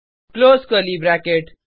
close curly bracket